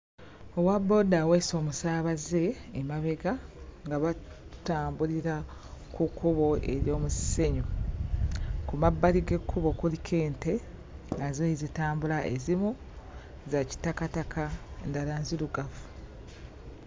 Owabbooda aweese omusaabaze emabega nga batambulira ku kkubo ery'omusenyu. Ku mabbali g'ekkubo kuliko ente nazo ezitambula za kitakataka endala nzirugavu.